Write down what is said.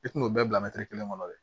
I tun y'o bɛɛ bila kelen kɔnɔ dɛ